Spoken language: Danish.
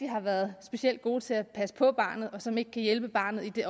har været specielt gode til at passe på barnet og som ikke kan hjælpe barnet i